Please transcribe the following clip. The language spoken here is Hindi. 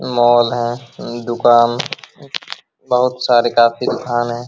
मॉल है दुकान बहुत सारे काफी दुकान हैं |